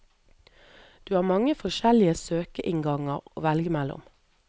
Du har mange forskjellige søkeinnganger å velge mellom.